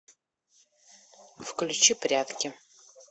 включи прятки